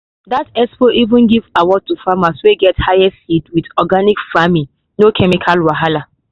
that expo even give award to farmers wey get highest yield with organic farming no chemical wahala.